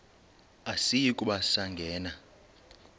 asiyi kuba sangena